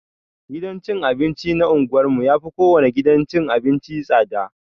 Gidan cin abinci na unguwar mu yafi kowane gidan cin abinci tsada.